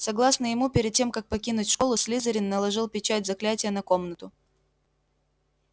согласно ему перед тем как покинуть школу слизерин наложил печать заклятия на комнату